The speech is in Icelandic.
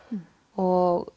og